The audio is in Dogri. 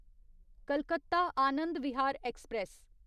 कलकत्ता आनंद विहार ऐक्सप्रैस